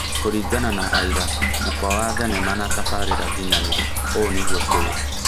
Kũringana na aira, mũkwa wa thenema na tabarĩra nginyanĩru, ũũ nĩguo tũĩĩ